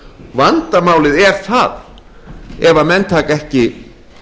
vandamálið er það ef menn taka ekki